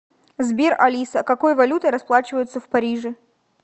сбер алиса какой валютой расплачиваются в париже